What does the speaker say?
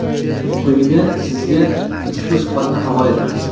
Quyida sizga ushbu suhbatni havola etamiz.